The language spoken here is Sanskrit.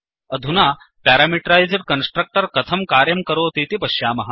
अधुना प्यारामीटरैस्ड् कन्स्ट्रक्टर् कथं कार्यं करोतीति पश्यामः